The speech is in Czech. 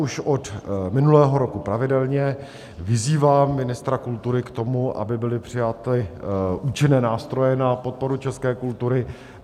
Už od minulého roku pravidelně vyzývám ministra kultury k tomu, aby byly přijaty účinné nástroje na podporu české kultury.